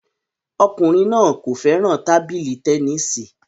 Ọkùnrin náà kò fẹ́ràn tábìlì tẹnisi